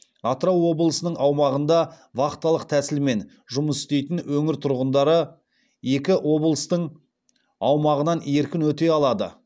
атырау облысының аумағында вахталық тәсілмен жұмыс істейтін өңір тұрғындары екі облыстың аумағынан еркін өте алады